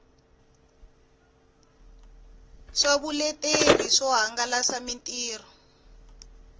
swa vuleteri swo hangalasa mitirho